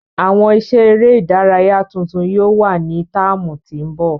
Awọn iṣẹ ere idaraya tuntun yóò wa ni táámu ti ńbọ.